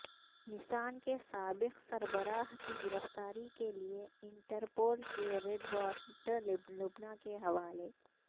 نسان کے سابق سربراہ کی گرفتاری کے لیے انٹرپول کے ریڈ وارنٹ لبنان کے حوالے